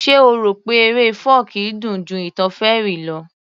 Ṣe o rò pé eré fọ́ọ̀kí dùn ju ìtàn fairy lọ